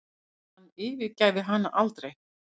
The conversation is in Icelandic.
Hann yfirgæfi hana aldrei.